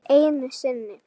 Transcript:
Einu sinni.